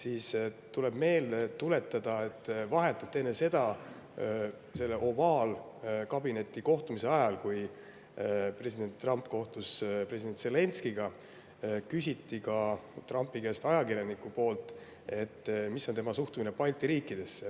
Tasub meelde tuletada, et selle ovaalkabinetis toimunud kohtumise ajal, kui president Trump kohtus president Zelenskõiga, küsis ajakirjanik Trumpi käest, milline on tema suhtumine Balti riikidesse.